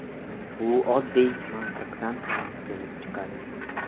Bu oddiy mantiqdan ham kelib chiqadi.